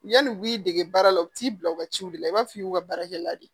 Yani u y'i dege baara la u bɛ t'i bila u ka ciw de la i b'a f'i ye u ka baarakɛla de ye